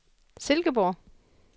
Silkeborg